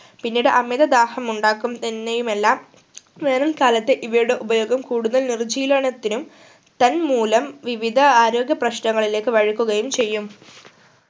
പിന്നീട് അമിത ദാഹം ഉണ്ടാക്കും മെന്നേയുമല്ല വരും കാലത്തു ഇവയുടെ ഉപയോഗം കൂടുതൽ നിർജീനലനത്തിനും തൻ മൂലം വിവിധ ആരോഗ്യ പ്രശ്നങ്ങളിലേക്കു വയ്ക്കുകയും ചെയ്യും